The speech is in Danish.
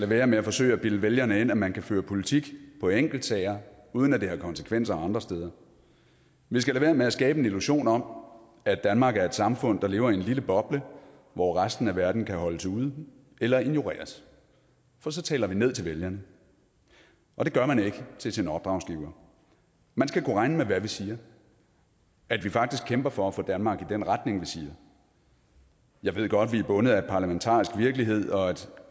være med at forsøge at bilde vælgerne ind at man kan føre politik på enkeltsager uden at det har konsekvenser andre steder vi skal lade være med at skabe en illusion om at danmark er et samfund der lever i en lille boble hvor resten af verden kan holdes ude eller ignoreres for så taler vi ned til vælgerne og det gør man ikke til sin opdragsgiver man skal kunne regne med hvad vi siger at vi faktisk kæmper for at få danmark i den retning vi siger jeg ved godt at vi er bundet af en parlamentarisk virkelighed og at